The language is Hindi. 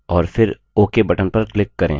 और फिर ok button पर click करें